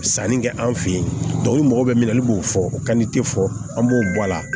Sanni kɛ an fe yen tubabuw mago bɛ min na olu b'o fɔ fɔ an b'o bɔ a la